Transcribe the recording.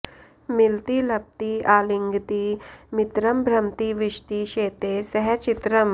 मिलति लपति आलिङ्गति मित्रम् भ्रमति विशति शेते सह चित्रम्